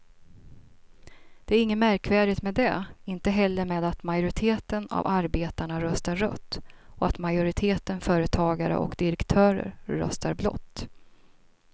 Det är inget märkvärdigt med det, inte heller med att majoriteten av arbetarna röstar rött och att majoriteten företagare och direktörer röstar blått.